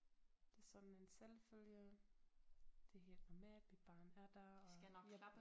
Det sådan en selvfølge det helt normalt mit barn er der og ja